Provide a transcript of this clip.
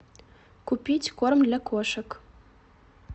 купить корм для кошек